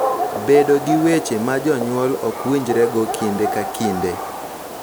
Bedo gi weche ma jonyuol ok winjrego kinde ka kinde